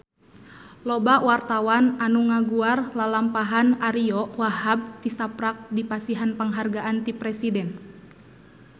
Loba wartawan anu ngaguar lalampahan Ariyo Wahab tisaprak dipasihan panghargaan ti Presiden